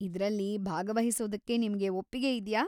ಇದ್ರಲ್ಲಿ ಭಾಗವಹಿಸೋದಕ್ಕೆ ನಿಮ್ಗೆ ಒಪ್ಪಿಗೆ ಇದ್ಯಾ?